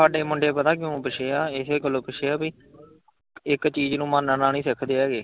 ਹਾਡੇ ਮੁੰਡੇ ਪਤਾ ਕਿਉਂ ਪਿੱਛੇ ਆ ਇਹੋ ਗੱਲੋਂ ਪਿੱਛੇ ਆ ਭੀ ਇੱਕ ਚੀਜ਼ ਨੂੰ ਮੰਨਣਾ ਨੀ ਸਿੱਖ ਦੇ ਹੈਗੇ।